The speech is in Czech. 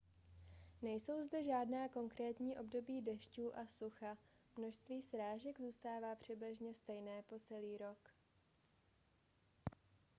nejsou zde žádná konkrétní období dešťů a sucha množství srážek zůstává přibližně stejné po celý rok